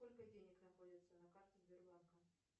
сколько денег находится на карте сбербанка